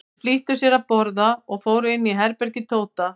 Þeir flýttu sér að borða og fóru inn í herbergi Tóta.